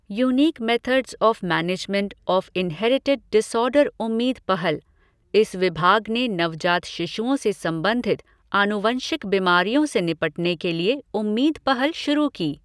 Unique methods of management of inherited disorder उम्मीद पहलः इस विभाग ने नवजात शिशुओं से संबंधित आनुवंशिक बीमारियों से निपटने के लिए उम्मीद पहल शुरू की।